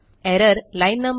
error line no